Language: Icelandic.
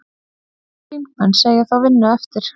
Þingmenn segja þá vinnu eftir.